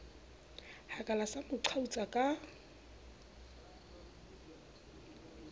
hakala sa mo qhautsa ka